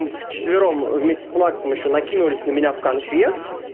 в четвером вместе с максом ещё накинулись на меня в конфе